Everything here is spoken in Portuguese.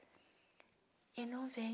Ele não veio.